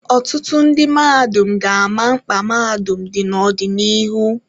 Ọtụtụ ndị mmadụ ga-ama mkpa mahadum dị n'ọdịnihu.